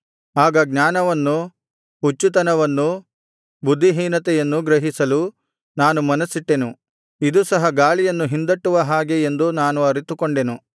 ಆಗ ಜ್ಞಾನವನ್ನೂ ಹುಚ್ಚುತನವನ್ನೂ ಬುದ್ಧಿಹೀನತೆಯನ್ನೂ ಗ್ರಹಿಸಲು ನಾನು ಮನಸ್ಸಿಟ್ಟೆನು ಇದು ಸಹ ಗಾಳಿಯನ್ನು ಹಿಂದಟ್ಟುವ ಹಾಗೆ ಎಂದು ನಾನು ಅರಿತುಕೊಂಡೆನು